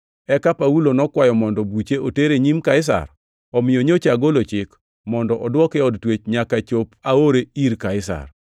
Eka Paulo nokwayo mondo buche oter e nyim Kaisar. Omiyo nyocha agolo chik mondo odwoke e od twech nyaka chop aore ir Kaisar.”